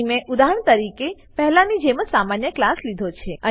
અહીં મેં ઉદાહરણ તરીકે પહેલાની જેમ જ સમાન ક્લાસ લીધો છે